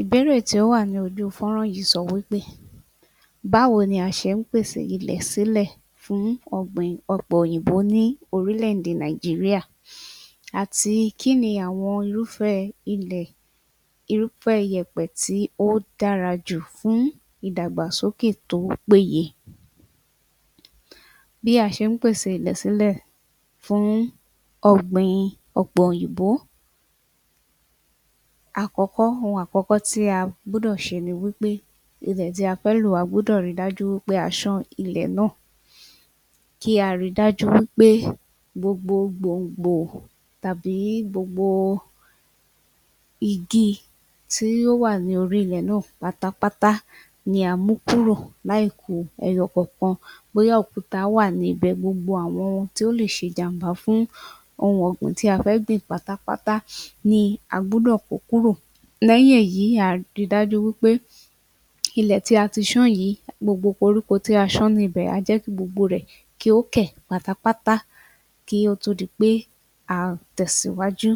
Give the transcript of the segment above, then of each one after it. Ìbéèrè tí ó wà ní ojú fọ́rán yìí sọ wí pé báwo ni a ṣe ń pèsè ilẹ̀ sílẹ̀ fún ọ̀gbìn ọ̀pẹ òyìnbó ní orílẹ̀-èdè Nàìjíríyà? Àti kí ni àwọn irúfẹ́ ilẹ̀ irúfẹ́ iyẹ̀pẹ̀ tó dára jù fún ìdàgbàsókè tó péye bí a ṣe ń pèsè ilẹ̀ sílẹ̀ fún ọ̀gbìn ọ̀pẹ òyìnbó Àkọ́kọ́, ohun àkọ́kọ́ tí a gbúdọ̀ ṣe ni pé ilẹ̀ tí a fẹ́ lò a gbọ́dọ̀ ri dájú pé a ṣán ilẹ̀ náà kí a rí dájú wí pé gbogbo gbòngbò tàbí gbogbo igi tí ó wà ní orí ilẹ̀ náà pátápátá ni a mú kúrò láì ku ẹyọ kankan bóyá òkúta wà níbẹ̀ gbogbo àwọn tí ó lè ṣe ìjàmbá fún ohun ọ̀gbìn tí a fẹ́ gbìn pátápátá ni a gbúdọ̀ kó kúrò lẹ́yìn èyí a gbọ́dọ̀ ri dájú pé ilẹ̀ tí a ti ṣán yìí, gbogbo koríko tí a ti ṣán níbẹ̀ a jẹ́ kí gbogbo rẹ̀ kí ó kẹ̀ pátápátá kí ó tó di pé a tẹ̀síwájú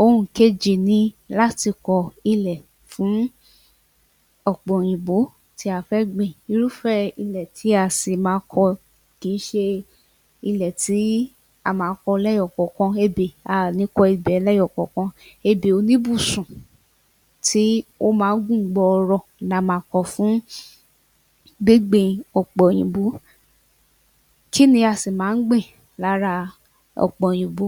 Ohun ìkejì ni láti kọ ilẹ̀ fún ọ̀pẹ òyìnbó tí a fẹ́ gbìn irúfẹ́ ilẹ̀ tí a sì máa kọ lẹ́yọ kọ̀ọ̀kan ebè a ò ní kọ ebè ẹlẹ́yọ kọ̀ọ̀kan ebè oníbùsùn tí ó máa ń gùn gbọọrọ ni a máa kọ fún gbígbin ọ̀pẹ òyìnbó Kí ni a sì máa ń gbìn lára ọ̀pẹ òyìnbó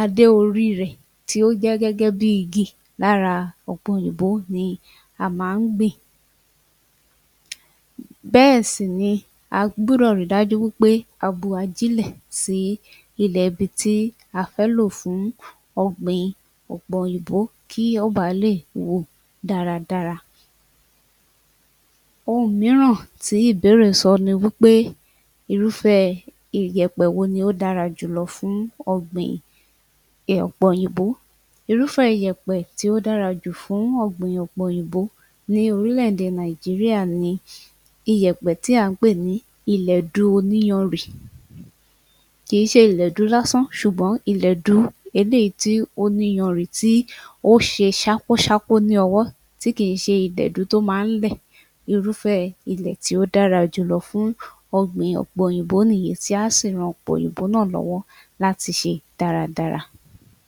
adé orí rẹ̀ tí ó jẹ́ gẹ́gé bí igi lára ọ̀pẹ òyìnbó ni a máa ń gbìn bẹ́ẹ̀ sì ni a gbúdọ̀ ri dájú wí pé a gbin ajílẹ̀ sí ilẹ̀ ibi tí a fẹ́ lò fún ọ̀pẹ òyìnbó kí ó ba lè wù dáradára Ohun mìíràn ttí ìbéèrè sọ ni wí pé Irúfẹ́ iyẹ̀pẹ̀ wo ló dára jùlọ fún ohun ọ̀gbìn ọ̀pẹ òyìnbó Irúfẹ́ iyẹ̀pẹ̀ tí ó dára jù fún ọ̀gbìn ọ̀pẹ òyìnbó ní orílẹ̀-èdè Nàìjíríyà ni ilẹ̀du oníyanrìn kì í ṣe ilẹ̀du lásán ṣùgbọ́n ilẹ̀du eléyìí tó ní iyanrìn tí ó ṣe ṣákúṣákú ní ọwọ́ tí kì í ṣe ilẹ̀du tí ó máa ń lẹ̀ irúfẹ́ ilẹ̀ tí ó dára jùlọ fún ọ̀pẹ òyìnbó nìyẹn tí a sì ran ọ̀pẹ òyìnbó náà lọ́wọ́ láti ṣe dáradára